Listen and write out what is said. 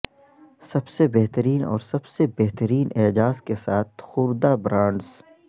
سب سے بہترین اور سب سے بہترین اعزاز کے ساتھ خوردہ برانڈز